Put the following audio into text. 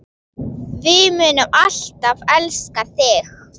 Við munum alltaf elska þig.